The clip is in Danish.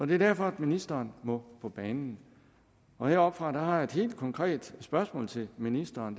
det er derfor ministeren må på banen heroppefra har jeg et helt konkret spørgsmål til ministeren